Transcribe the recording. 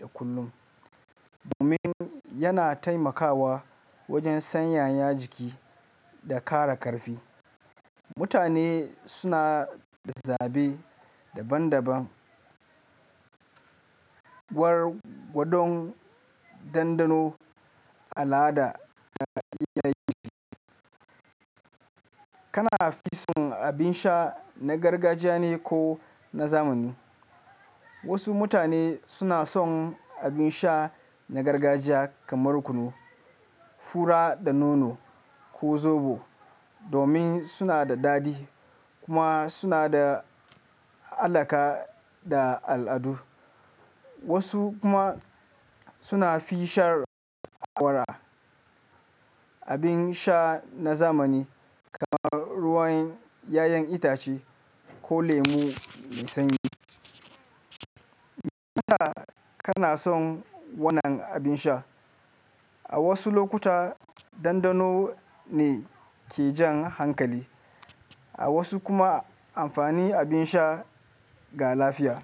da kullum, domin yana taimakawa wajen sanyaya jiki da ƙara ƙarfi. Mutane suna da zaɓe daban-daban, waɗannan dandano al'ada da ɗayagi. Kana fi son abin sha na gargajiya ne ko na zamani? Wasu mutane suna son abin sha na gargajiya kamar kunu, fura da nono ko zobo domin suna da daɗi kuma suna da alaƙa da al'adu. Wasu kuma suna fi shar warwara abin sha na zamani kamar ruwan 'ya'yan itace ko lemu mai sanyi. Me yasa kana son wannan abin sha? A wasu lokuta dandano ne ke jan hankali, a wasu kuma amfani abin sha ga lafiya.